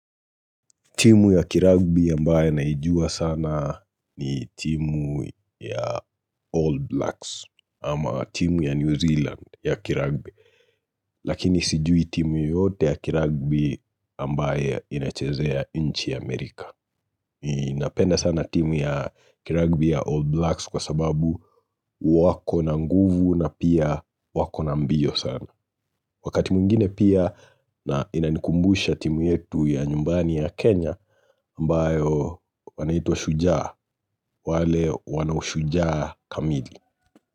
Timu ya kiragbi ambayo naijua sana ni timu ya All Blacks ama timu ya New Zealand ya kiragbi Lakini sijui timu yote ya kiragbi ambaye inachezea nchi Amerika. Ninapenda sana timu ya kiragbi ya All Blacks kwa sababu wako na nguvu na pia wako na mbio sana. Wakati mwingine pia na inanikumbusha timu yetu ya nyumbani ya Kenya ambayo wanaitwa shujaa wale wana ushujaa kamili.